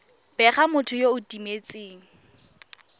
bega motho yo o timetseng